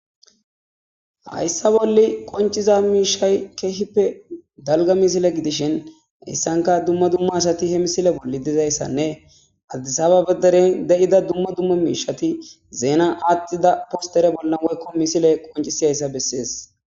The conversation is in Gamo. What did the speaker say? Haysa bolla qonc'iza mishay kehippe dalga missile gidishin haysanka dumma dumma asati he misile adis ababa deren haniza dumma dumma mishati Zena athida poster bolla misiley qoncisidaysa beses.